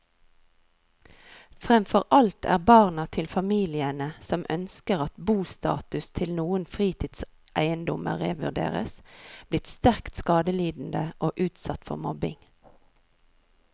Fremfor alt er barna til familiene som ønsker at bostatus til noen fritidseiendommer revurderes, blitt sterkt skadelidende og utsatt for mobbing.